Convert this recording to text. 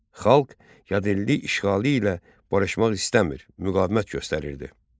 Xalq yad elli işğalı ilə barışmaq istəmir, müqavimət göstərirdi.